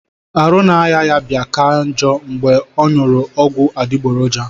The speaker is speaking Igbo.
Arụ na aya ya bia ka njo ngbe onyuru ogwu adigboroja.